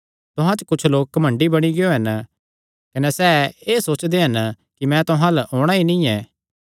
तुहां च कुच्छ लोक घमंडी बणी गियो हन कने सैह़ एह़ सोचदे हन कि मैं तुहां अल्ल औणां ई नीं ऐ